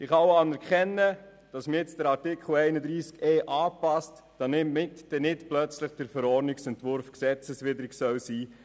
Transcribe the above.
Ich kann auch anerkennen, dass man nun den Artikel 31e (neu) anpasst, damit der Verordnungsentwurf nicht plötzlich gesetzwidrig ist.